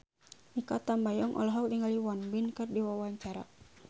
Mikha Tambayong olohok ningali Won Bin keur diwawancara